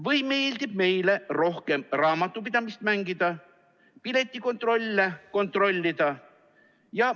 Või meeldib meile rohkem raamatupidamist mängida, piletikontrolle kontrollida.